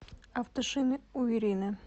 автошины у ирины